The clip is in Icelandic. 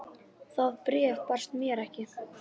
Það bréf barst mér ekki!